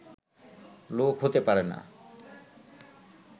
লোক হতে পারে না